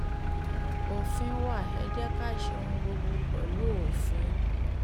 òfin wa ẹ̀ jẹ́ ká ṣe ohun gbogbo pẹ̀lú òfin